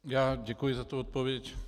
Já děkuji za tu odpověď.